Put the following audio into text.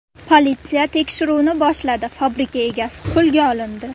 Politsiya tekshiruvni boshladi, fabrika egasi qo‘lga olindi.